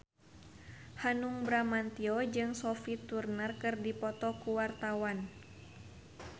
Hanung Bramantyo jeung Sophie Turner keur dipoto ku wartawan